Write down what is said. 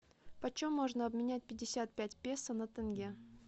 почем можно обменять пятьдесят пять песо на тенге